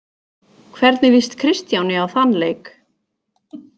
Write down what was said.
Hvernig lýst Kristjáni á þann leik?